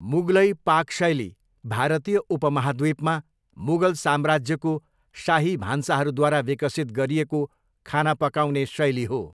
मुगलई पाकशैली भारतीय उपमहाद्वीपमा मुगल साम्राज्यको शाही भान्साहरूद्वारा विकसित गरिएको खाना पकाउने शैली हो।